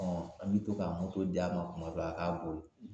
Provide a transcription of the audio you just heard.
an mi to ka d'a ma kuma dɔ a ka bori